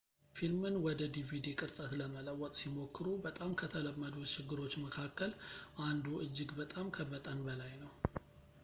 ፊልምን ወደ ዲቪዲ ቅርጸት ለመለወጥ ሲሞክሩ በጣም ከተለመዱት ችግሮች መካከል አንዱ እጅግ በጣም ከመጠን በላይ ነው